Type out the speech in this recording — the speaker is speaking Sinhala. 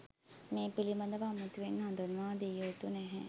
මේ පිළිබඳව අමුතුවෙන් හඳුන්වා දියයුතු නැහැ